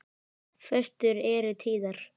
Föstur eru tíðar.